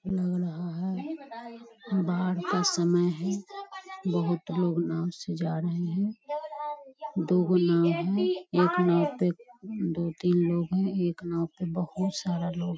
लग रहा है बाढ़ का समय है बहुत लोग नाव से जा रहे हैं दु गो नाव है एक नाव पे दो-तीन लोग हैं एक नाव पे बहुत सारा लोग --